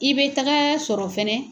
I bɛ taga sɔrɔ fɛnɛ